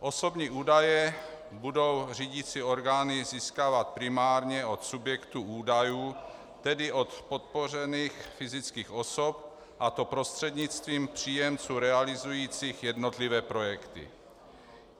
Osobní údaje budou řídicí orgány získávat primárně od subjektů údajů, tedy od podpořených fyzických osob, a to prostřednictvím příjemců realizujících jednotlivé projekty.